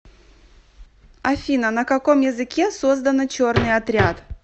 афина на каком языке создано черный отряд